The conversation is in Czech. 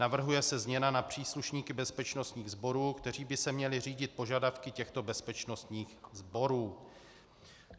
Navrhuje se změna na příslušníky bezpečnostních sborů, kteří by se měli řídit požadavky těchto bezpečnostních sborů.